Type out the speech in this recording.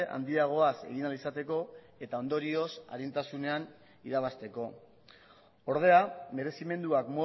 handiagoaz egin ahal izateko eta ondorioz arintasunean irabazteko ordea merezimenduak